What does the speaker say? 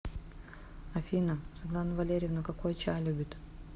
афина светлана валерьевна какой чай любит